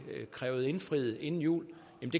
krævet indfriet inden jul